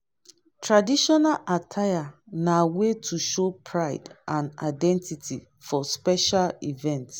traditional attire na way to show pride and identity for special events.